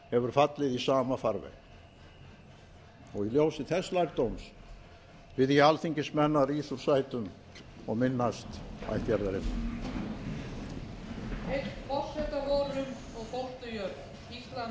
hefur fallið í sama farveg í ljósi þess lærdóms bið ég alþingismenn að rísa úr sætum og minnast ættjarðarinnar